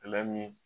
min